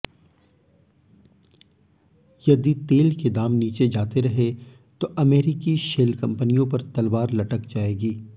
यदि तेल के दाम नीचे जाते रहे तो अमेरिकी शेल कंपनियों पर तलवार लटक जाएगी